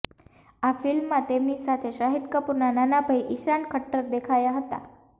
આ ફિલ્મમાં તેમની સાથે શાહિદ કપૂરના નાના ભાઈ ઈશાન ખટ્ટર દેખાયા હતા